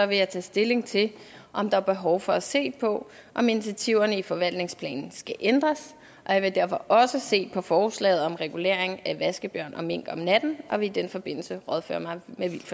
vil jeg tage stilling til om der er behov for at se på om initiativerne i forvaltningsplanen skal ændres og jeg vil derfor også se på forslaget om regulering af vaskebjørn og mink om natten og vil i den forbindelse rådføre mig